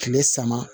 Kile sama